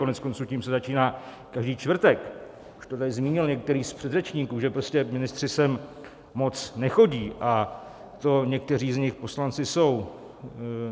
Koneckonců tím se začíná každý čtvrtek, už to tady zmínil některý z předřečníků, že prostě ministři sem moc nechodí, a to někteří z nich poslanci jsou.